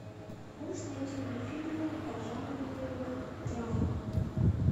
можешь найти мне фильм по жанру драма